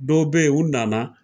Dɔw be yen u nana.